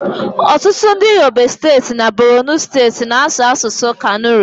ọtụtụ ndị Yobe steeti na Borono steeti na-asụ asụsụ Kanuri